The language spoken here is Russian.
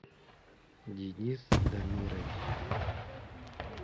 денис дамирович